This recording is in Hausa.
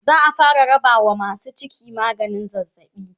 za'a fara rabawa masu ciki maganin zazzabi